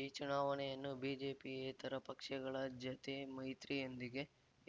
ಈ ಚುನಾವಣೆಯನ್ನು ಬಿಜೆಪಿಯೇತರ ಪಕ್ಷಗಳ ಜತೆ ಮೈತ್ರಿಯೊಂದಿಗೆ